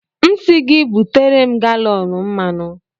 M sị gị butere m galọn mmanụ.